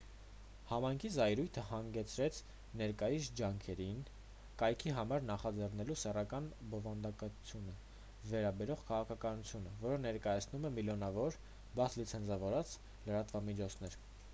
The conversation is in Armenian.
համայնքի զայրույթը հանգեցրեց ներկայիս ջանքերին կայքի համար նախագծելու սեռական բովանդակությանը վերաբերող քաղաքականություն որը ներկայացնում է միլիոնավոր բաց լիցենզավորված լրատվամիջոցներ